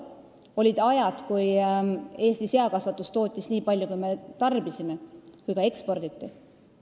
Olid ajad, kui Eesti seakasvatus tootis nii palju, kui me ise tarbisime, ja ka eksporditi.